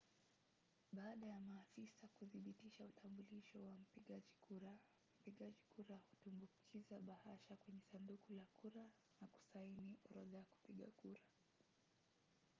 baada ya maafisa kuthibitisha utambulisho wa mpigaji kura mpigaji kura hutumbukiza bahasha kwenye sanduku la kura na kusaini orodha ya kupiga kura